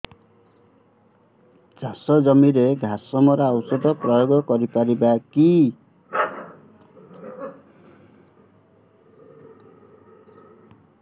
ଚାଷ ଜମିରେ ଘାସ ମରା ଔଷଧ ପ୍ରୟୋଗ କରି ପାରିବା କି